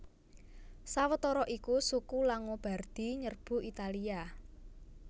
Sawetara iku suku Langobardi nyerbu Italia